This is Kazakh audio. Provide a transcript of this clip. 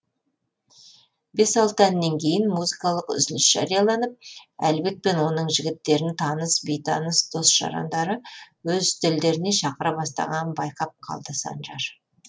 бес алты әннен кейін музыкалық үзіліс жарияланып әлібек пен оның жігіттерін таныс бейтаныс дос жарандары өз үстелдеріне шақыра бастағанын байқап қалды санжар